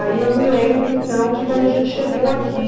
Aí eu me lembro, então, de quando a gente chegou aqui.